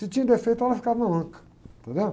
Se tinha defeito, ela ficava manca. Entendeu?